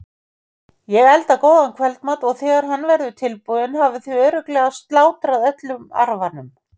Ég elda góðan kvöldmat og þegar hann verður tilbúinn hafið þið örugglega slátrað öllum arfanum.